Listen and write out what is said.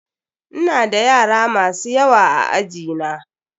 Ina da yara masu yawa a aji na.